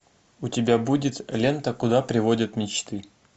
у тебя будет лента куда приводят мечты